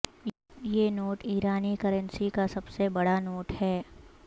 یہ نوٹ ایرانی کرنسی کا سب سے بڑا نوٹ ہے